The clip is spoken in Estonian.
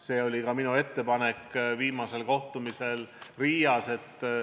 See oli ka minu ettepanek viimasel Riias peetud kohtumisel.